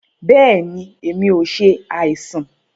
Bẹẹni, èmi o ṣe àìsàn.